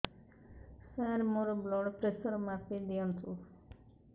ସାର ମୋର blood pressure ମାପି ଦିଅନ୍ତୁ